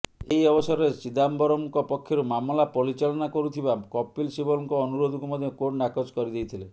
ଏହି ଅବସରରେ ଚିଦାମ୍ବରମ୍ଙ୍କ ପକ୍ଷରୁ ମାମଲା ପରିଚାଳନା କରୁଥିବା କପିଲ ସିବଲଙ୍କ ଅନୁରୋଧକୁ ମଧ୍ୟ କୋର୍ଟ ନାକଚ କରିଦେଇଥିଲେ